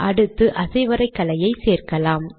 அடுத்து அசைவரைகலையை சேர்க்கலாம்